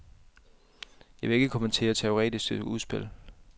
Jeg vil ikke kommentere teoretiske udspil.